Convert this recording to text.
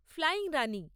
flying Rani